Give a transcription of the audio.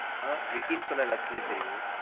ஆஹ் விக்கினு சொன்னா எல்லாத்துக்குமே தெரியும்.